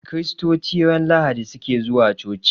Kiristoci ran lahadi suke zuwa coci